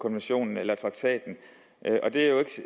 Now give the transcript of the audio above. traktaten og det er jo